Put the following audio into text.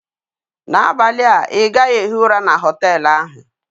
N'abalị a ị gaghị ehi ụra na họtel ahụ!